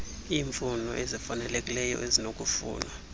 iifuno ezifanalekileyo ezinokufunwa